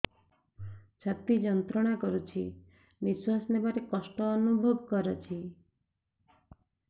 ଛାତି ଯନ୍ତ୍ରଣା କରୁଛି ନିଶ୍ୱାସ ନେବାରେ କଷ୍ଟ ଅନୁଭବ କରୁଛି